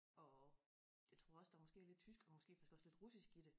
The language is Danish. Og jeg tror også der måske er lidt tysk og måske vist også lidt russisk i det